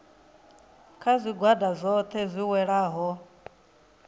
kha zwigwada zwohe zwi welaho